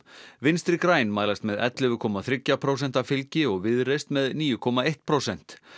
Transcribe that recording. vinstri græn mælast með ellefu komma þrjú prósent fylgi og Viðreisn með níu komma eitt prósent